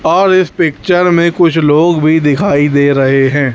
और इस पिक्चर में कुछ लोग भीं दिखाई दे रहें हैं।